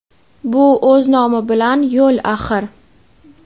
bu o‘z nomi bilan yo‘l axir.